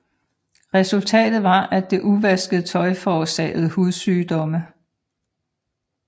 Resultatet var at det uvaskede tøj forårsagede hudsygdomme